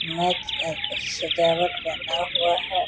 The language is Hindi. मैच ए ए सजावट बना हुआ है।